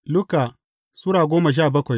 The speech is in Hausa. Luka Sura goma sha bakwai